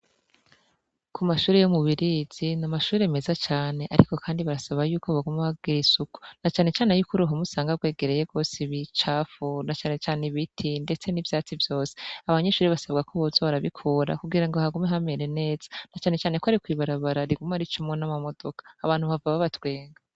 Ku mashuri yo mubirizi ni amashuri meza cane, ariko, kandi barasaba yuko bagume hagira isuku na canecane yuko uruho musanga rwegereye rwose bicafuna canecane ibiti, ndetse n'ivyatsi vyose abanyishuri basabwa ko bozo barabikura kugira ngo hagume hamere neza na canecaneko ari kwibarabara rigume ari comwo n'amamodoka abantu bava babatwenga.